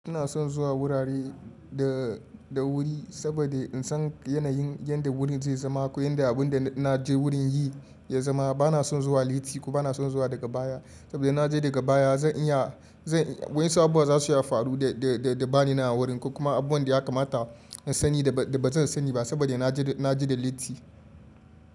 Ina son zuwa wurare da, da wuri saboda in san yanayin yadda wurin zai zama ko yadda abun da na je wurin yi ya zama. Bana son zuwa latti ko bana son zuwa daga baya saboda na je daga baya zan iya, zan, wasu abubuwa za su iya faru da, da, da, da ba ni na wurin ko kuma abun da ya kamata in sani da ba zan sani ba saboda na je, na je da latti.